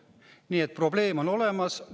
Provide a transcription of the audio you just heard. Nii et probleem on olemas.